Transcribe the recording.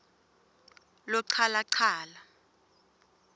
lochalachala